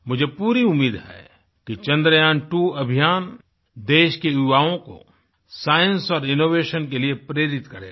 मुझे पूरी उम्मीद है कि चंद्र्यान्त्वो अभियान देश के युवाओं को साइंस और इनोवेशन के लिए प्रेरित करेगा